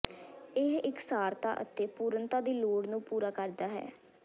ਇਹ ਇਕਸਾਰਤਾ ਅਤੇ ਪੂਰਨਤਾ ਦੀ ਲੋੜ ਨੂੰ ਪੂਰਾ ਕਰਦਾ ਹੈ